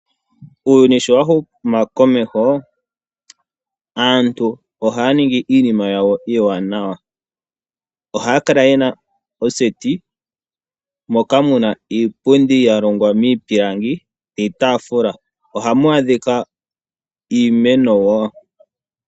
Uuyuni sho wahumu komeho aantu ohaya ningi iinima yawo iiwanawa. Ohaya kala ye na oseti moka muna iipundi yalongwa miipilangi niitaafula. Ohamu dhika iimeno woo.